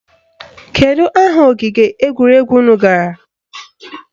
Kedu aha ogige egwuregwu unu gara?